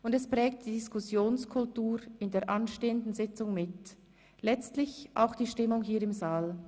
Und es prägt die Diskussionskultur in der anstehenden Sitzung mit, letztlich auch die Stimmung hier im Saal.